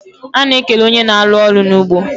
A na ekene onye na alu olu na ugbo